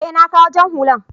e, na kawo jan hullan.